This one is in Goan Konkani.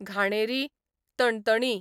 घाणेरी, तणतणी